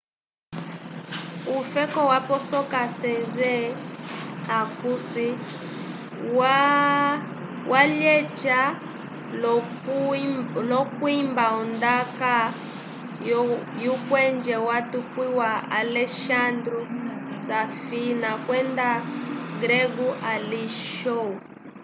ufeko waposoka sezen aksu walyeca lo kwuimba ondaka yu kwenje watukwiwa alessandro safina kwenda grego alexiou